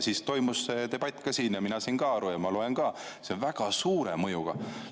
Siis toimus siin see debatt ja mina sain aru ja ma loen ka, et see on väga suure mõjuga.